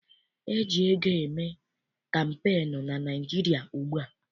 E ji ego eme kampeenu na Naịjirịa ugbua.